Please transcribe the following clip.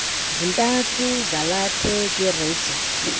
zintathu zalathwe kwirejista